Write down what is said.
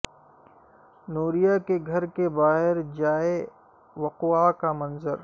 نوریہ کے گھر کے باہر جائے وقوعہ کا منظر